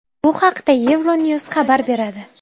Bu haqda EuroNews xabar beradi.